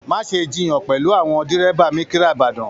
Má ṣe jiyàn pẹlú àwọn dírẹ́bà mikira ìbàdàn.